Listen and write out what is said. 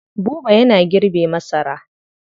Buba yana girbe masara.